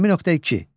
20.2.